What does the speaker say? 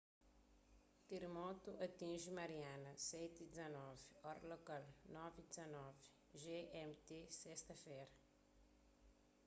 teramotu atinji mariana 07:19 ora lokal 21:19 gmt sesta-fera